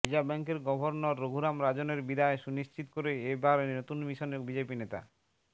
reserve ব্যাঙ্কের governor Raghuram রাজনের বিদায় সুনিশ্চিত করে এ বারে নতুন মিশনে বিজেপি নেতা